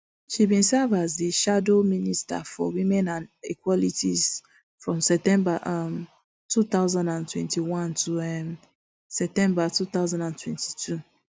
she bin serve as di shadow minister for women and equalities from september um two thousand and twenty-one to um september two thousand and twenty-two